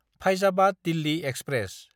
Faizabad Delhi express